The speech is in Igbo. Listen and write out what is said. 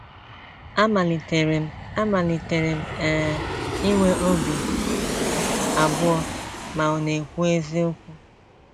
Amalitere m Amalitere m um inwe obi abụọ ma ọ̀ na - ekwu eziokwu. ”